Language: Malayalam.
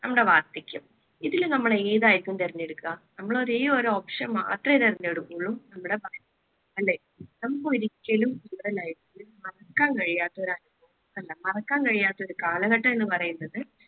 നമ്മടെ വാർദ്ധക്യം. ഇതില് നമ്മൾ ഏത് ആയിരിക്കും തിരഞ്ഞെടുക്കുക? നമ്മൾ ഒരേയൊരു option മാത്രമേ തെരഞ്ഞെടുക്കു നമ്മുടെ ബാല്യം. അല്ലേ? നമുക്ക് ഒരിക്കലും നമ്മുടെ life ൽ മറക്കാൻ കഴിയാത്ത ഒരു അനുഭവം അല്ല മറക്കാൻ കഴിയാത്ത ഒരു കാലഘട്ടം എന്ന് പറയുന്നത്